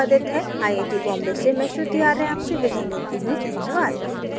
यह स्क्रिप लता द्वारा अनुवादित है आई आई टी बॉम्बे से मैं श्रुति आर्य आपसे विदा लेती हूँ धन्यवाद